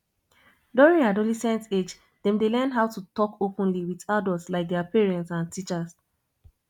during adolesent age dem dey learn how to talk openly with adult like their parents and teachers